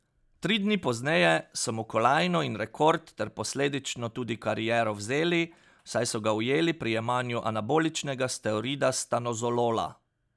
Tri dni pozneje so mu kolajno in rekord ter posledično tudi kariero vzeli, saj so ga ujeli pri jemanju anaboličnega steroida stanozolola.